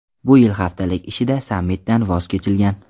Bu yil haftalik ishida sammitdan voz kechilgan.